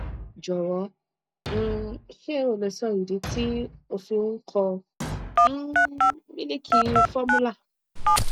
jọwọ um ṣé o lè sọ ìdí tí ó fi ń kọ um mílìkì formula